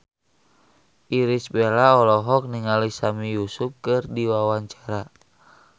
Irish Bella olohok ningali Sami Yusuf keur diwawancara